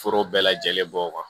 Foro bɛɛ lajɛlen bɔ kan